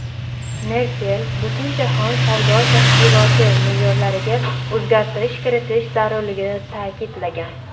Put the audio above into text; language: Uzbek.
Merkel Butunjahon savdo tashkiloti me’yorlariga o‘zgartirish kiritish zarurligini ta’kidlagan.